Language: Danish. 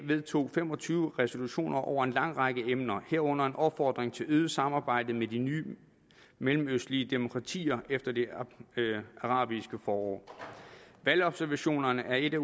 vedtog fem og tyve resolutioner over en lang række emner herunder en opfordring til øget samarbejde med de nye mellemøstlige demokratier efter det arabiske forår valgobservationerne er et af